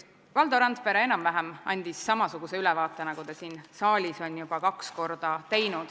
Valdo Randpere andis enam-vähem samasuguse ülevaate, nagu ta siin saalis on juba kaks korda teinud.